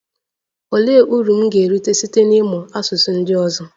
Olee uru m ga-erite site n'ịmụ asụsụ ndị ọzọ?